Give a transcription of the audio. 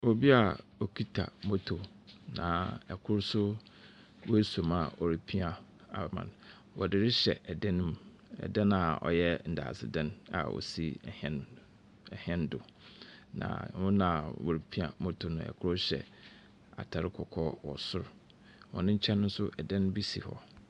Obi a okita motor. Na kor nso ɔaso mu a ɔrepia ama no. Wɔde rehyɛ dan no mu. Ɛdan a ɔyɛ ndaadzzedan a osi hɛn, hɛn do. Na wɔn wɔrepia motor no wɔhyɛ atar kɔkɔɔ wɔ sor. Wɔn nkyɛn nso dan bi si hɔ.